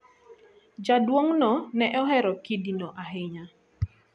Jaduong'no ne ohero kidino ahinya.